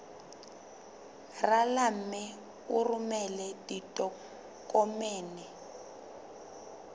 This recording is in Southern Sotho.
rala mme o romele ditokomene